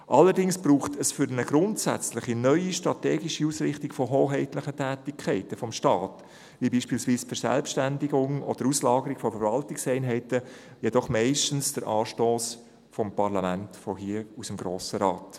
Allerdings braucht es für eine grundsätzliche neue strategische Ausrichtung von hoheitlichen Tätigkeiten des Staates – beispielsweise die Verselbstständigung oder die Auslagerung von Verwaltungseinheiten – jedoch meistens den Anstoss des Parlaments, von hier, aus dem Grossen Rat.